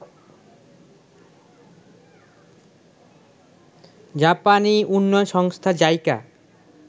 জাপানী উন্নয়ন সংস্থা জাইকা